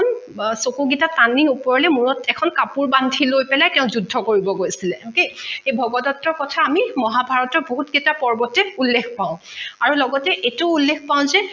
চকু কেইটা তানি ওপৰলে মূৰত এখন কাপোৰ বান্ধি লৈ পেলাই তেঁও যুদ্ধ কৰিব গৈছিলে okay এই ভগদট্তৰ কথা আমি মহাভাৰতৰ বহুত কেইটা পৰ্বতে উল্লেখ পাও আৰু লগতে এইটো উল্লেখ পাও যে